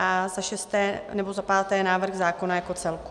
A za šesté, nebo za páté návrh zákona jako celku.